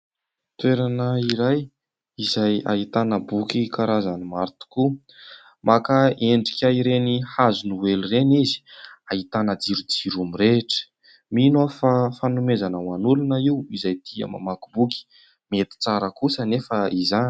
Toerana iray izay ahitana boky karazany maro tokoa, maka endrika ireny hazonoely ireny izy, ahitana jirojiro mirehitra. Mino aho fa fanomezana ho an'olona io izay tia mamaky boky, mety tsara kosa anefa izany.